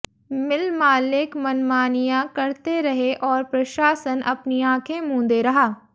मिल मालिक मनमानियां करते रहे और प्रशासन अपनी आंखें मंूदे रहा